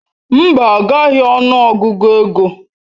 Mba, agaghị ọnụ Ọgụgụ ego.